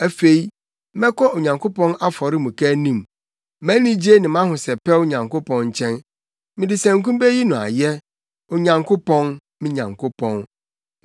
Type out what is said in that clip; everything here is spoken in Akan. Afei, mɛkɔ Onyankopɔn afɔremuka anim, mʼanigye ne mʼahosɛpɛw Nyankopɔn nkyɛn. Mede sanku beyi wo ayɛ, Onyankopɔn, me Nyankopɔn.